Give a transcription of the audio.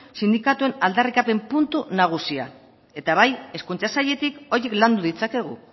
sindikatuen aldarrikapen puntu nagusia eta bai hezkuntza sailetik horiek landu ditzakegu